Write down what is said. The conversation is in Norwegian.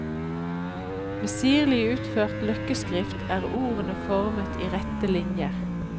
Med sirlig utført løkkeskrift er ordene formet i rette linjer.